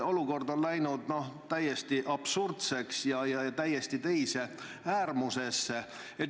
Olukord on läinud täiesti absurdseks, täiesti teise äärmusesse.